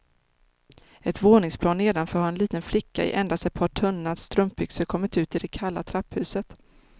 Ett våningsplan nedanför har en liten flicka i endast ett par tunna strumpbyxor kommit ut i det kalla trapphuset.